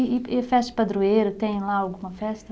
E e festa de padroeira, tem lá alguma festa?